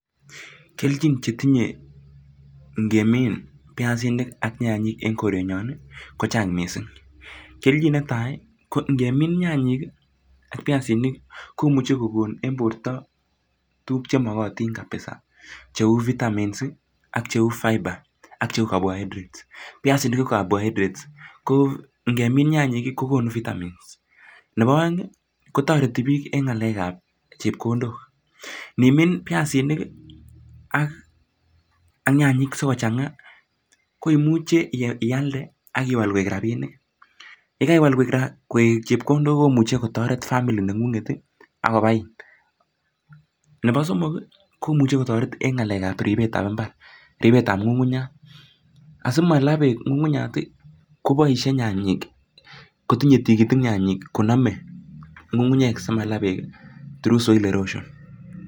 Kelchin chetinye ingemin piasinik ak nyanyik en korenyon kochang' misiing'. Kelchin netai ko ingemin nyanyik ak piasinik komuche kogon en porto tuguk chemogotin kabisa cheu vitamins ak cheu fibre ak cheu caborhydrates, piasinik ko caborhydrates ko ingemin nyanyik kogonu vitamins, nepo oeng', kotoreti piik en ng'alekap chepkondok, inimin piasinik ak nyanyik sikochan'ga koimuche ialde ak iwal koik rapinik, yekaiwal koik chepkondok komuche kotoret family neng'ung'et ak kopai. Nepo somok komuche kotoret en ng'alekap ripetap mbar, ripetap ng'ung'unyat, asimala peek ng'ung'unyat, kopoisie nyanyik kotinye tigitik nyanyik konome ng'ungu'unyek simala peek through soil erosion.